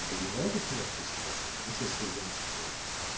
добивайтесь месту способом из середины с кровью